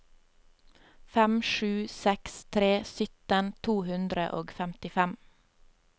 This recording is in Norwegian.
fem sju seks tre sytten to hundre og femtifem